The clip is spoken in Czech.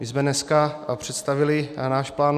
My jsme dneska představili náš plán